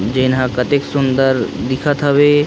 दिन हा कतेक सुन्दर दिखत हवे।